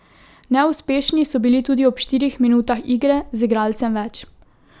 Neuspešni so bili tudi ob štirih minutah igre z igralcem več.